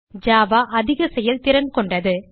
Java அதிக செயல்திறன் கொண்டது